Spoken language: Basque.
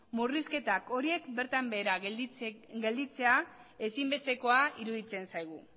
murrizketa horiek bertan behera gelditzea ezinbestekoa iruditzen zaigu